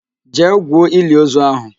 Jee gwuo iliozu ahụ!